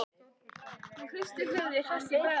Hún hristi höfuðið, hress í bragði.